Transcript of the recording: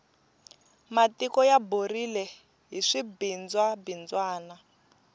matiko ya borile hi swibindzwa bindzwana